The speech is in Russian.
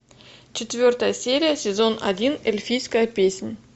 четвертая серия сезон один эльфийская песнь